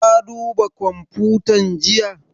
Ka duba kwamfutan jiya?